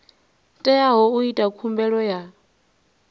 teaho u ita khumbelo ya